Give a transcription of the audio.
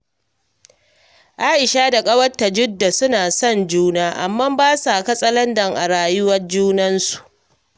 Aisha da ƙawarta Jidda suna son juna, amma ba sa katsalandan a rayuwar junansu